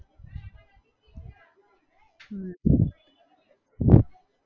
હમ